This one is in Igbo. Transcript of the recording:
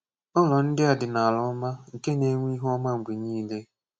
Ụ̀lọ̀ ndị̀ à dị̀ n’alà ọmà nkè na-enwè ihù ọmà mgbè niilè.